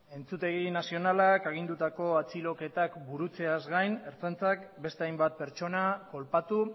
entzutegi nazionalak agindutako atxiloketak burutzeaz gaiz ertzaintzak beste hainbat pertsona kolpatu